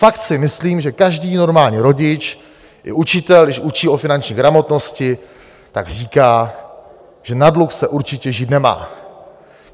Fakt si myslím, že každý normální rodič i učitel, když učí o finanční gramotnosti, tak říká, že na dluh se určitě žít nemá.